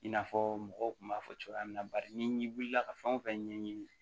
I n'a fɔ mɔgɔw kun b'a fɔ cogoya min na bari ni wulila ka fɛn wo fɛn ɲɛɲini